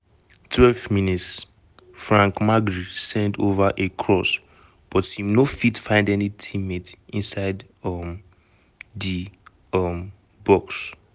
12 mins - frank magri send ova a cross but im no fit find any teammate inside um di um box.